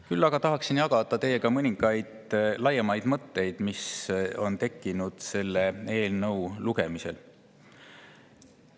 Küll aga tahaksin jagada teiega mõningaid laiemaid mõtteid, mis on tekkinud selle eelnõu lugemisel.